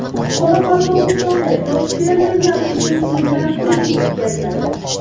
Qoraqalpog‘istonda yosh fermerlar uchun seminar-trening o‘tkaziladi.